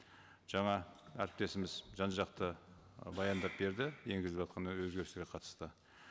жаңа әріптесіміз жан жақты ы баяндап берді енгізіліватқан өзгерістерге қатысты